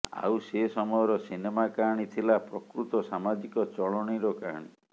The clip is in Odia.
ଆଉ ସେ ସମୟର ସିନେମା କାହାଣୀ ଥିଲା ପ୍ରକୃତ ସାମାଜିକ ଚଳନୀର କାହାଣୀ